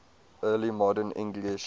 early modern english